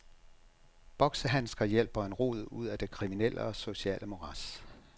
Boksehandsker hjælper en rod ud af det kriminelle og sociale morads.